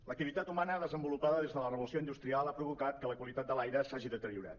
l’ac·tivitat humana desenvolupada des de la revolució industrial ha provocat que la qualitat de l’aire s’hagi deteriorat